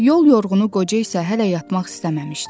Yol yorğunu qoca isə hələ yatmaq istəməmişdi.